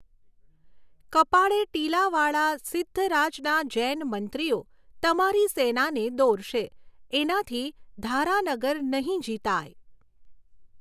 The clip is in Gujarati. કપાળે ટીલાવાળાં સિદ્ધરાજના જૈનમંત્રીઓ તમારી સેનાને દોરશે એનાથી ધારાનગર નહીં જીતાય.